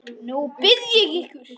Nú bið ég ykkur